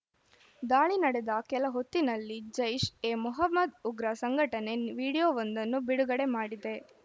ದಾಳಿ ನಡೆದ ಕೆಲ ಹೊತ್ತಿನಲ್ಲಿ ಜೈಷ್‌ ಎ ಮೊಹಮ್ಮದ್‌ ಉಗ್ರ ಸಂಘಟನೆ ವಿಡಿಯೋವೊಂದನ್ನು ಬಿಡುಗಡೆ ಮಾಡಿದೆ